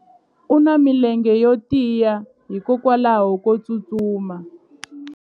u na milenge yo tiya hikwalaho ko tsustuma